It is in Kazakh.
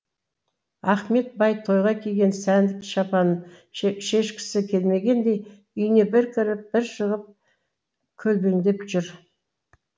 ахмет бай тойға киген сәнді шапанын шешкісі келмегендей үйіне бір кіріп бір шығып көлбеңдеп жүр